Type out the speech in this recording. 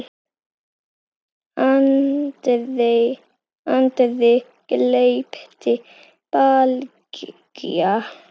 andri, gleypti Bylgja.